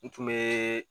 N tun bɛ